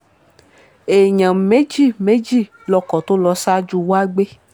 èèyàn méjì méjì lọkọ tó lọ ṣáájú wa gbé